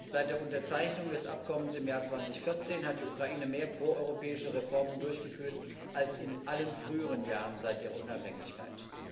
Seit der Unterzeichnung des Abkommens im Jahr 2014 hat die Ukraine mehr proeuropäische Reformen durchgeführt als in allen früheren Jahren seit ihrer Unabhängigkeit.